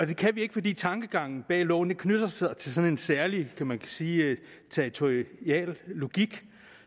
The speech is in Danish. det kan vi ikke fordi tankegangen bag loven knytter sig til sådan en særlig kan man sige territorial logik